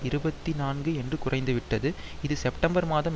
இருபத்தி நான்கு என்று குறைந்துவிட்டது இது செப்டம்பர் மாதம்